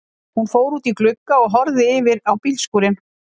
Hún fór út í glugga og horfði yfir á bílskúrinn.